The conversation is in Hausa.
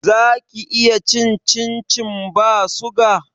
Zaki iya cin cincin ba suga